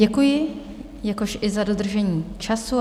Děkuji, jakož i za dodržení času.